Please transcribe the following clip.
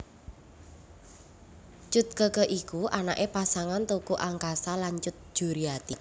Cut Keke iku anaké pasangan Teuku Angkasa lan Cut Juriati